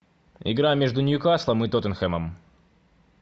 игра между ньюкаслом и тоттенхэмом